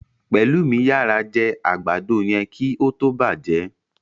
Pelumi yara jé àgbàdo yén kí ó tó bàjé.